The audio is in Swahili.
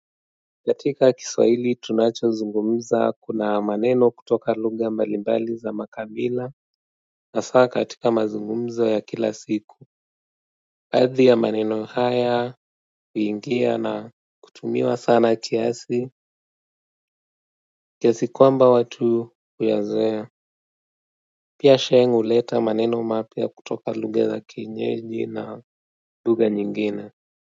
Katika Kiswahili tunachozungumza kuna maneno kutoka lugha mbalimbali za makabila. Hasa katika mazungumzo ya kila siku, baadhi ya maneno haya huingia na kutumiwa sana kiasi kiasi kwamba watu huyazoea pia sheng huleta maneno mapya kutoka lugha za kienyeji na lugha zingine.